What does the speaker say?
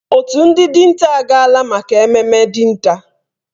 Òtù ndị dinta agaala maka ememme dinta.